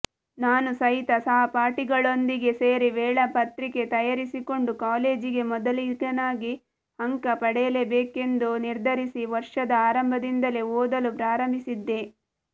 ನಾನು ಸಹಿತ ಸಹಪಾಠಿಗಳೊಂದಿಗೆ ಸೇರಿ ವೇಳಾಪತ್ರಿಕೆ ತಯಾರಿಸಿಕೊಂಡು ಕಾಲೇಜಿಗೆ ಮೊದಲಿಗನಾಗಿ ಅಂಕ ಪಡೆಯಲೇಬೇಕೆಂದು ನಿರ್ಧರಿಸಿ ವರ್ಷದ ಆರಂಭದಿಂದಲೇ ಓದಲು ಪ್ರಾರಂಭಿಸಿದ್ದೆ